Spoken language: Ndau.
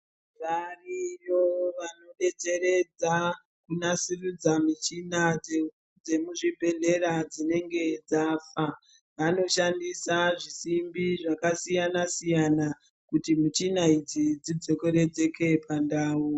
Variyo vanodetseredza kunasiridza michina dzemuzvibhedhera dzinenge dzafa, vanoshandisa zvisimbi zvakasiyana-siyana kuti michina idzi dzidzokeredzeke pandau.